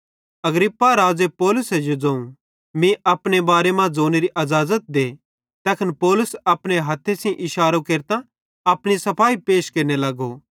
अग्रिप्पा राज़े पौलुसे जो ज़ोवं तीं अपने बारे मां ज़ोनेरी अज़ाज़ते तैखन पौलुस अपनो हथ्थे सेइं इशारो केरतां अपनी सफाई पैश केरने लगो